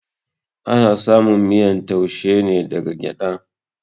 Ana samun miyan taushe ne daga gyada